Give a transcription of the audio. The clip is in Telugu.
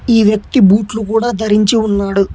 ఈ వ్యక్తి బూట్లు కూడా ధరించి ఉన్నాడు